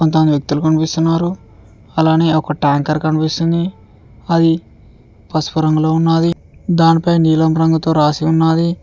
కొంతమంది వ్యక్తులు కనిపిస్తున్నారు అలానే ఒక టాంకర్ కనిపిస్తుంది అది పసుపు రంగులో ఉన్నాది దాని పైన నీలం రంగుతో రాసి ఉన్నాది.